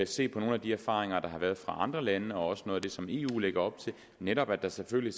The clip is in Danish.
se på nogle af de erfaringer der har været fra andre lande og også noget af det som eu lægger op til netop at der selvfølgelig